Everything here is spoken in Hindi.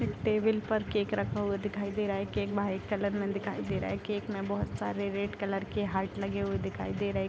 एक टेबल पर केक रखा हुआ दिखाई दे रहा है केक व्हाइट कलर में दिखाई दे रहा है केक में बहुत सारे रेड कलर के हार्ट लगे हुए दिखाई दे रहे --